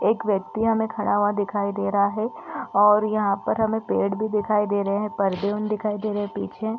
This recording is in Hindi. एक व्यक्ति हमें खड़ा हुआ दिखाई दे रहा है और यहाँ पर हमें पेड़ भी दिखाई दे रहे हैं। परदे दिखाई दे रहे हैं पीछे --